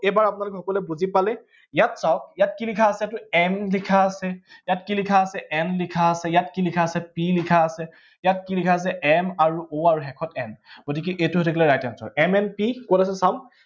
এইবাৰ আপোনালোকে সকলোৱে বুজি পালে, ইয়াত চাওঁক ইয়াত কি লিখা আছে, এইটো m লিখা আছে, ইয়াত কি লিখা আছে n লিখা আছে, ইয়াত কি লিখা আছে, ইয়াত p লিখা আছে, ইয়াত কি লিখা আছে m আৰু o আৰু শেষত, m গতিকে এইটো হৈ থাকিলে right answer কত আছে চাওঁক